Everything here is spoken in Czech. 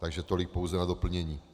Takže tolik pouze na doplnění.